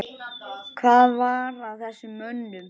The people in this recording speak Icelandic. Hvað var að þessum mönnum?